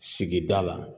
Sigida la